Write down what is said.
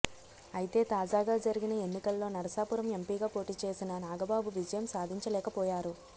అయితే తాజాగా జరిగిన ఎన్నికల్లో నరసాపురం ఎంపీగా పోటీచేసిన నాగబాబు విజయం సాధించలేకపోయారు